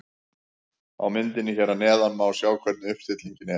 Á myndinni hér að neðan má sjá hvernig uppstillingin er.